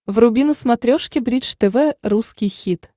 вруби на смотрешке бридж тв русский хит